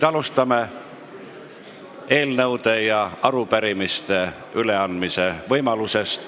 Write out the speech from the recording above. Alustame eelnõude ja arupärimiste üleandmise võimalusest.